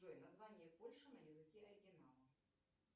джой название польши на языке оригинала